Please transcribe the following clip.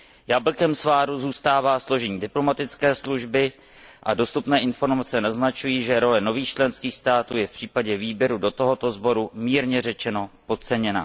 Jablkem sváru zůstává složení diplomatické služby a dostupné informace naznačují, že role nových členských států se v případě výběru do tohoto sboru, mírně řečeno, podceňuje.